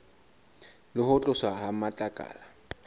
le ho tloswa ha matlakala